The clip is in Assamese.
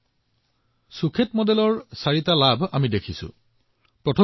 অৰ্থাৎ সুখেত মডেলৰ চাৰিটা লাভালাভ পোনপটীয়াকৈ দৃশ্যমান হৈছে